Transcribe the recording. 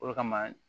O de kama